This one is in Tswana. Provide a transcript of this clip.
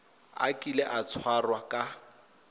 a kile a tshwarwa ka